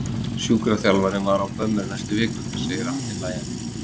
Sjúkraþjálfarinn var á bömmer næstu vikurnar, segir Atli hlæjandi.